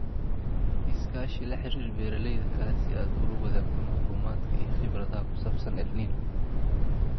Iskaashi La xiriir beeralayda kale si aad ula wadaagto macluumaadka iyo khibradaha ku saabsan El Niño.